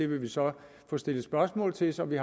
vil så stille spørgsmål til så vi